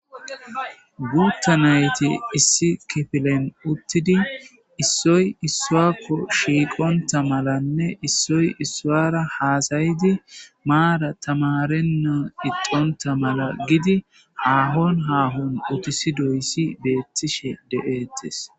Guutta nayti issi kifilen uttidi issoy issuakko shiiqonta malanne issoy issuara haasayidi maara tamarenna ixonta mala gidi haahon haahon utisi doyssi beettishe de'eettes.